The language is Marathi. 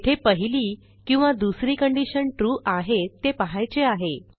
येथे पहिली किंवा दुसरी कंडिशन ट्रू आहे ते पहायचे आहे